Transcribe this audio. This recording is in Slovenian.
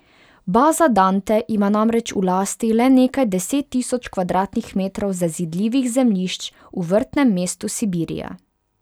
Baza Dante ima namreč v lasti le nekaj deset tisoč kvadratnih metrov zazidljivih zemljišč v Vrtnem mestu Sibirija.